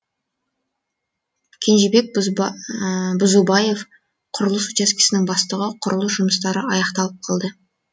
кенжебек бұзубаев құрылыс учаскесінің бастығы құрылыс жұмыстары аяқталып қалды